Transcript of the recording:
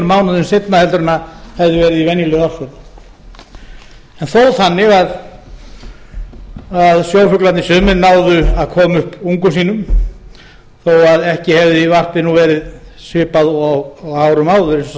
mánuðum seinna en hefði verið í venjulegu árferði en þó þannig að sjófuglarnir sumir náðu að koma upp ungum sínum þó að ekki hefði varpið nú verið svipað og á árum áður eins og sagt